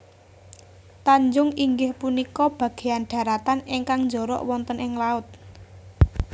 Tanjung inggih punika bagéyan dharatan ingkang njorok wonten ing laut